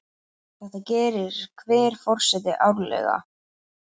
Þetta gerir hver forseti árlega.